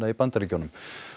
í Bandaríkjunum